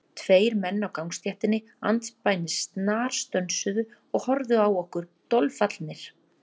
Tveir menn á gangstéttinni andspænis snarstönsuðu og horfðu á okkur dolfallnir.